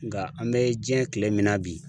Nga an be jiɲɛ kile min na bi